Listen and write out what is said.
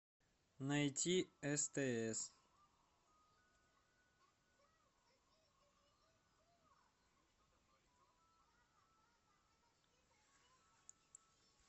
найти стс